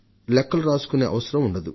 లెక్కలు రాసుకునే అవసరం ఉండదు